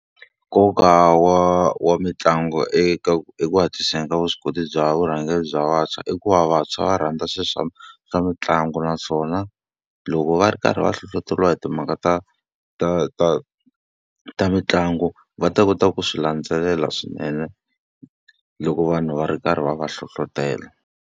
Nkoka wa wa mitlangu eka eku hatliseni ka vuswikoti bya vurhangeri bya vantshwa i ku va vantshwa va rhandza swilo swa swa mitlangu naswona, loko va ri karhi va hlohleteriwa hi timhaka ta ta ta ta mitlangu va ta kota ku swi landzelela swinene loko vanhu va ri karhi va va hlohletela.